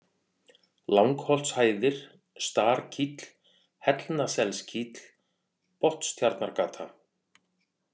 Langholtshæðir, Starkíll, Hellnaselskíll, Botnstjarnargata